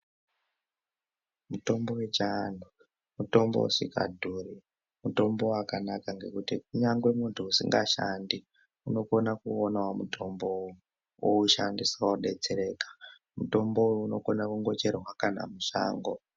Mutombo wechianhu mutombo usikadhuri mutombo wakanaka ngekuti kunyangwe muntu usingashandi unokone kuuonawo mutombowo oushandisa odetsereka mutombo uyu unokona kungocherwa kana mushango.